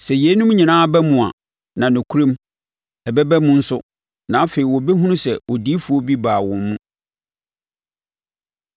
“Sɛ yeinom nyinaa ba mu a, na nokorɛm ɛbɛba mu nso, na afei wɔbɛhunu sɛ odiyifoɔ bi baa wɔn mu.”